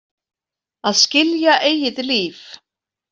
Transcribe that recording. Að skilja eigið líf.